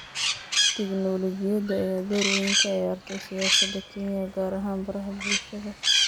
Tignoolajiyada ayaa door weyn ka ciyaartay siyaasadda Kenya, gaar ahaan baraha bulshada.